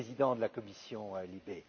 le président de la commission LIBE.